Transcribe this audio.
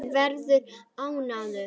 Hann verður þungur.